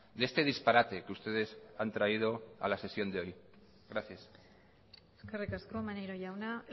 de este disparate que ustedes han traído a la sesión de hoy gracias eskerrik asko maneiro jauna